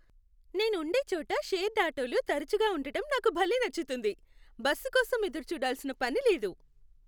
నేను ఉండే చోట షేర్డ్ ఆటోలు తరచుగా ఉండటం నాకు భలే నచ్చుతుంది, బస్సు కోసం ఎదురుచూడాల్సిన పని లేదు.